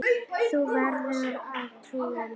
Þú verður að trúa mér.